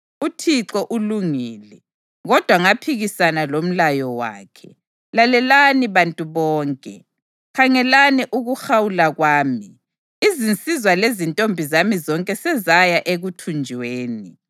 “ UThixo ulungile, kodwa ngaphikisana lomlayo wakhe. Lalelani bantu lonke; khangelani ukuhawula kwami. Izinsizwa lezintombi zami zonke sezaya ekuthunjweni.